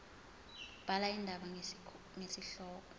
bhala indaba ngesihloko